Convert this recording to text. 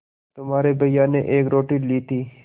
तुम्हारे भैया ने एक रोटी ली थी